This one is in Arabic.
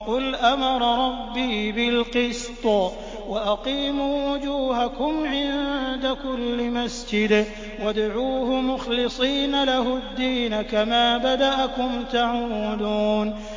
قُلْ أَمَرَ رَبِّي بِالْقِسْطِ ۖ وَأَقِيمُوا وُجُوهَكُمْ عِندَ كُلِّ مَسْجِدٍ وَادْعُوهُ مُخْلِصِينَ لَهُ الدِّينَ ۚ كَمَا بَدَأَكُمْ تَعُودُونَ